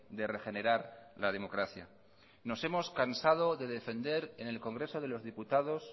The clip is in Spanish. de regenerar la democracia nos hemos cansado de defender en el congreso de los diputados